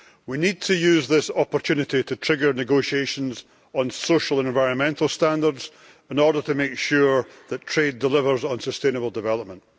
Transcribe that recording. We need to use this opportunity to trigger negotiations on social and environmental standards in order to make sure that trade delivers on sustainable development.